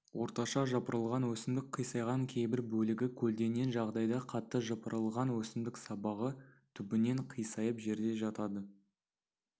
орташа жапырылған өсімдік қисайған кейбір бөлігі көлденең жағдайда қатты жапырылған өсімдік сабағы түбінен қисайып жерде жатады